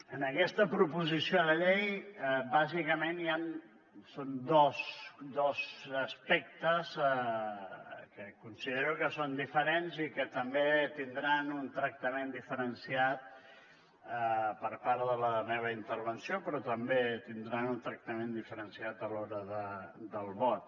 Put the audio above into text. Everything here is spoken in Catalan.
en aquesta proposició de llei bàsicament hi han dos aspectes que considero que són diferents i que també tindran un tractament diferenciat per part de la meva intervenció però també tindran un tractament diferenciat a l’hora del vot